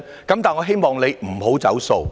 然而，我希望你不要"走數"。